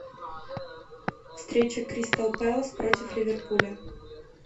встреча кристал пэлас против ливерпуля